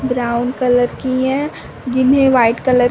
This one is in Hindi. ब्राउन कलर की है जिन्हे वाइट कलर --